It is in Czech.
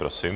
Prosím.